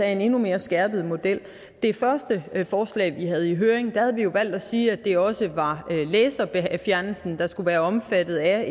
en endnu mere skærpet model i det første forslag vi havde i høring havde vi jo valgt at sige at det også var fjernelsen der skulle være omfattet af